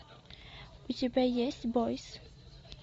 у тебя есть бойс